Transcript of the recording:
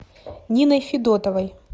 ниной федотовой